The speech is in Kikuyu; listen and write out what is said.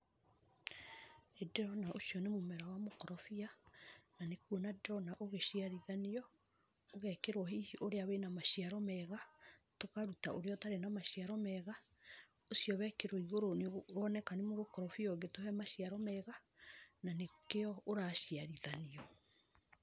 Nĩ ndĩrona ũcio nĩ mũmera wa mũkorobia na nĩ kuona ndĩrona ũgĩciarithanio. Ũgekĩrwo hihi ũrĩa wĩna maciaro mega tũkaruta ũrĩa ũtarĩ na maciaro mega. Ũcio wekĩrwo igũrũ nĩ woneka nĩ mũkorobia ũngĩtũhe maciaro mega na nĩkĩo ũraciarithanio.